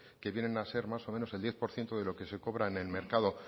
que vienen a ser más o menos el diez por ciento de lo que se cobra en el mercado